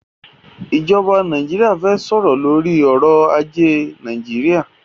ij̀ọba Nàìjíríà fẹ́ sọ̀rọ̀ lórí ọrọ̀ ajé Nàìjíríà.